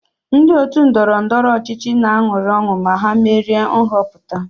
Ndị òtù ndọrọ ndọrọ ọchịchị na-aṅụrị ọṅụ ma ha merie nhọpụta